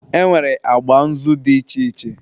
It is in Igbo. Enwere agba nzu dị iche iche